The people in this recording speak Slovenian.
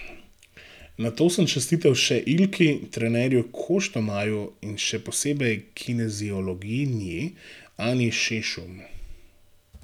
Nato sem čestital še Ilki, trenerju Koštomaju in še posebej kineziologinji Anji Šešum.